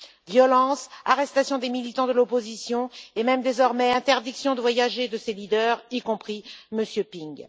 Violences, arrestations des militants de l'opposition et même désormais interdiction de voyager de ses leaders, y compris M. Ping.